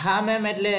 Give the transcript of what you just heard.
હા ma'am એટલે